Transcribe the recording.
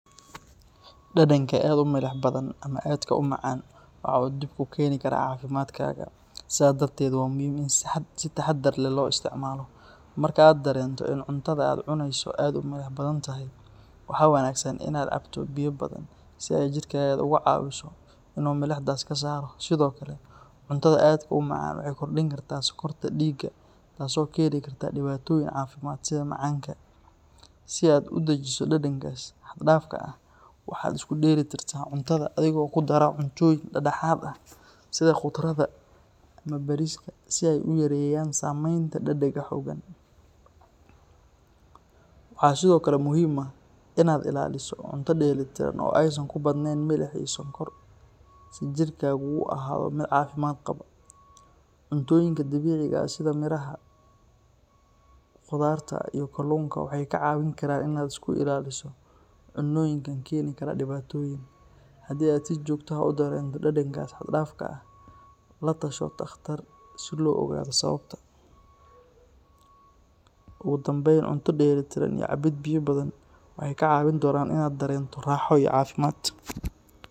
Dadanka aadka u milix badan ama aadka u macaan waxa uu dhib ku keeni karaa caafimaadkaaga, sidaa darteed waa muhiim in si taxaddar leh loo isticmaalo. Marka aad dareento in cuntada aad cunayso ay aad u milix badan tahay, waxaa wanaagsan in aad cabto biyo badan si ay jirkaaga uga caawiso inuu milixdaas ka saaro. Sidoo kale, cuntada aadka u macaan waxay kordhin kartaa sonkorta dhiigga taasoo keeni karta dhibaatooyin caafimaad sida macaanka. Si aad u dejiso dhadhankaas xad-dhaafka ah, waxaad isku dheelli tirtaa cuntadaada adigoo ku dara cuntooyin dhexdhexaad ah sida khudradda ama bariiska si ay u yareeyaan saameynta dhadhanka xooggan. Waxaa sidoo kale muhiim ah in aad ilaaliso cunto dheelitiran oo aysan ku badnayn milix iyo sonkor si jirkaaga u ahaado mid caafimaad qaba. Cuntooyinka dabiiciga ah sida miraha, khudaarta iyo kalluunka waxay kaa caawin karaan in aad iska ilaaliso cunnooyinka keeni kara dhibaatooyin. Haddii aad si joogto ah u dareento dhadhankaas xad-dhaafka ah, la tasho takhtar si loo ogaado sababta. Ugu dambeyn, cunto dheellitiran iyo cabbid biyo badan waxay kaa caawin doonaan in aad dareento raaxo iyo caafimaad.